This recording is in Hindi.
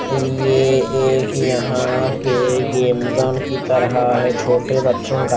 ये एक यहाँ पे गेम जोन की तरह है छोटे बच्चों का --